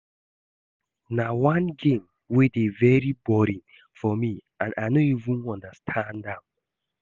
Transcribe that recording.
Golf na one game wey dey very boring for me and I no even understand am